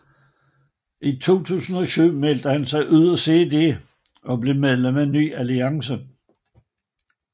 I 2007 meldte han sig ud af CD og blev medlem af Ny Alliance